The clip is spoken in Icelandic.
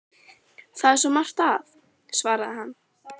Það er svo margt að- svaraði hann.